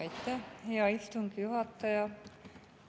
Aitäh, hea istungi juhataja!